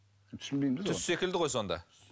түсінбеймін түс секілді ғой сонда